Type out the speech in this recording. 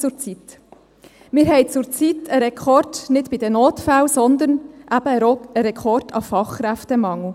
Wir haben zurzeit nicht einen Rekord bei den Notfällen, sondern einen Rekord beim Fachkräftemangel.